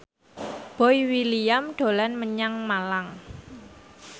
Boy William dolan menyang Malang